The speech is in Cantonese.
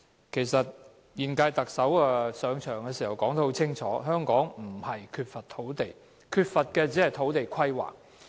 其實，現屆特首上場時說得很清楚，香港不是缺乏土地，而是缺乏土地規劃。